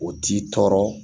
O t'i tɔɔrɔ